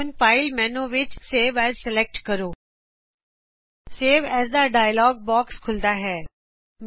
ਹੁਣ file menu ਜੀਟੀ save as select ਕਰੋ ਸੇਵ ਐਜ਼ ਦਾ ਡਾਇਲੋਗ ਬਾਕਸ ਖੁਲਦਾ ਹੈ